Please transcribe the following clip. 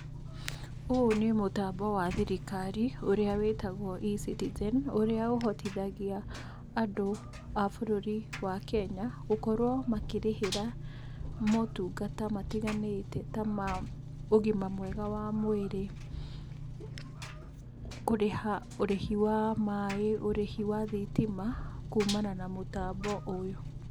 Ũyũ nĩ mũtambo wa thirikari, ũrĩa wĩtagwo eCitizen, ũrĩa ũteithagia andũ a bũrũri wa Kenya gũkorwo makĩrĩhĩra motungata matiganĩte ta ma ũgima mwega wa mwĩrĩ, kũrĩha ũrĩhi wa maaĩ, ũrĩhi wa thitima kumana na mũtambo ũyũ.